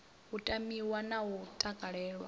u tamiwa na u takalelwa